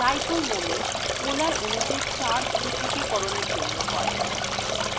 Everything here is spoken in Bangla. dipole moment polar অনুতে charge পৃথকীকরণএর জন্য হয়